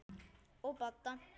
Og Badda.